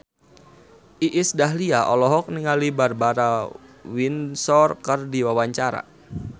Iis Dahlia olohok ningali Barbara Windsor keur diwawancara